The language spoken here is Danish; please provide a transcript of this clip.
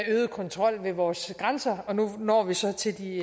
øget kontrol ved vore grænser og nu når vi så til de